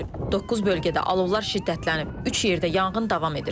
Doqquz bölgədə alovlar şiddətlənib, üç yerdə yanğın davam edir.